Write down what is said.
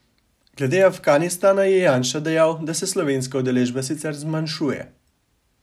Glede Afganistana je Janša dejal, da se slovenska udeležba sicer zmanjšuje.